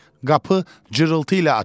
Qapı cırıltı ilə açıldı.